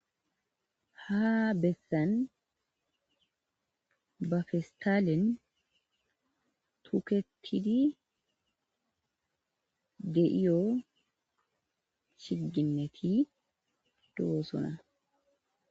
Ha bessan ba fistaalin tuketidi de iyo shiginneti duosuna.